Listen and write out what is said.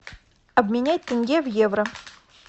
обменять тенге в евро